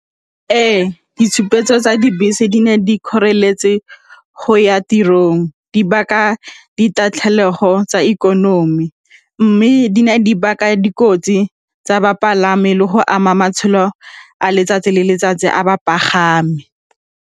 Ee, ditshupetso tsa dibese di na le dikgoreletsi tse go ya tirong, di baka ditatlhegelo tsa ikonomi mme di baka dikotsi tsa bapalami le go ama matshelo a letsatsi le letsatsi a bapagami.